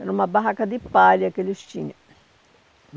Era uma barraca de palha que eles tinham.